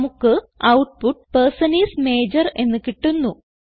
നമുക്ക് output person is major എന്ന് കിട്ടുന്നു